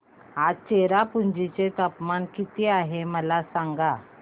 आज चेरापुंजी चे तापमान किती आहे मला सांगा